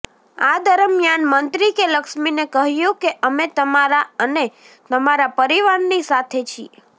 આ દરમિયાન મંત્રી એ લક્ષ્મીને કહ્યું કે અમે તમારા અને તમારા પરિવારની સાથે છીએ